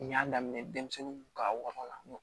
N y'a daminɛ denmisɛnnin ka wara n